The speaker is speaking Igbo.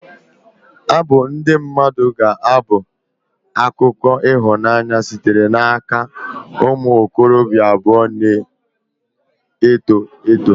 Abụ ndị mmadụ ga-abụ akụkọ ịhụnanya sitere n'aka ụmụ okorobịa abụọ na-eto eto.